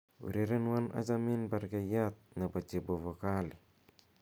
urerenwon achomin bergeiyat nepo chepovokali